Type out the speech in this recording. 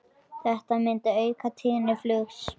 Þetta myndi auka tíðni flugs.